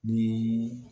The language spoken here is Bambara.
Ni